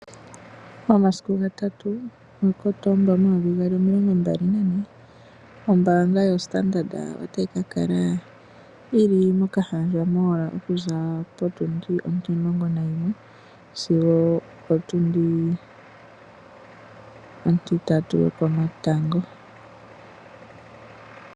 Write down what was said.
Momasiku ga 3 ga Kotomba omilongombali nane ombaanga yo Standard otayi kakala moKahandja okuza potundi ontimulongo nayimwe sigo opo tundi ontitatu yoko matango.